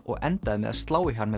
og endaði með að slá í hann með